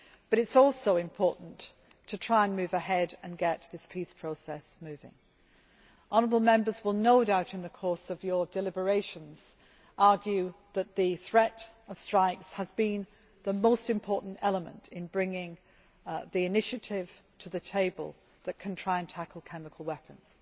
It is also important to try to move ahead and get this peace process moving. Honourable Members will no doubt, in the course of your deliberations, argue that the threat of strikes has been the most important element in bringing the initiative to the table that can try to tackle chemical weapons.